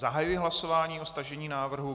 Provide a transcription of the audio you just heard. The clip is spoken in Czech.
Zahajuji hlasování o stažení návrhu.